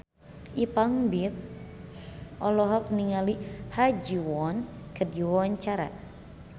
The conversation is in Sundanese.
Ipank BIP olohok ningali Ha Ji Won keur diwawancara